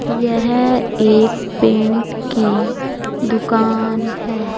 यह एक पेंट की दुकान है।